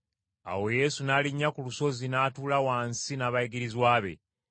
Awo Yesu n’alinnya ku lusozi n’atuula wansi n’abayigirizwa be.